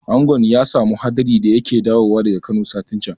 Angon ya samu hadari da yake dawowa daga Kano satin can